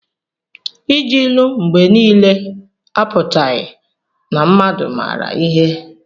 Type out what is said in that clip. Iji ilu mgbe niile apụtaghị na mmadụ maara ihe.